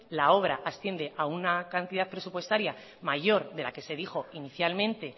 la obra asciende a una cantidad presupuestaria mayor de la que se dijo inicialmente